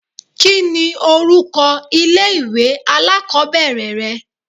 Kí ni orúkọ ilé ìwé alákòbẹ̀rẹ̀ rẹ?